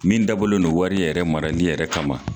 Min dabɔlen don wari yɛrɛ marali yɛrɛ kama.